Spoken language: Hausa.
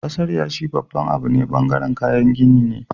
kasar yashi babban Abu ne bangaren kayan gini ne